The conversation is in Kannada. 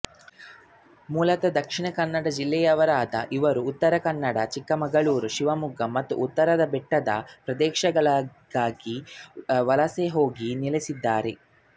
ಮೂಲತಃ ದಕ್ಷಿಣ ಕನ್ನಡ ಜಿಲ್ಲೆಯವರಾದ ಇವರು ಉತ್ತರ ಕನ್ನಡ ಚಿಕ್ಕಮಗಳೂರು ಶಿವಮೊಗ್ಗ ಮತ್ತು ಉತ್ತರದ ಬೆಟ್ಟ ಪ್ರದೇಶಗಳಿಗೆ ವಲಸೆಹೋಗಿ ನೆಲೆಸಿದ್ದಾರೆ